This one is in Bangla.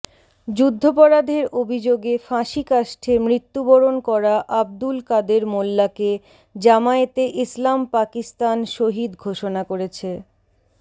যুদ্ধপরাধের অভিযোগে ফাঁসীকাষ্ঠে মৃত্যুবরণ করা আব্দুল কাদের মোল্লাকে জামায়েতে ইসলাম পাকিস্তান শহীদ ঘোষণা করেছে